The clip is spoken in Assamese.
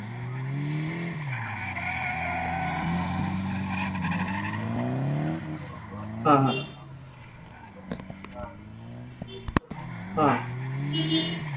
হা, হা। অ